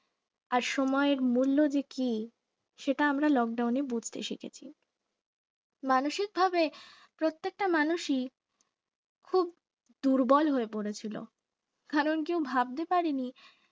আর সময়ের মূল্য যে কি সেটা আমরা লকডাউনে বুঝতে শিখিনি মানসিকভাবে প্রত্যেকটা মানুষই খুব দুর্বল হয়ে পড়েছিল কারণ কেউ ভাবতে পারিনি